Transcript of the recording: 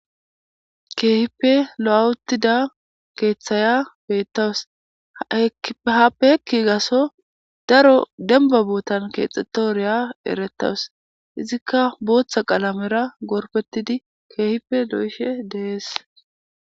Keehippe lo'awutida keeththaya beettawus ehaappeki gaso daro denba bootan keexetooriya erettawus izikka booththa qalamera gorpetidi keehippe lo'ishe deees.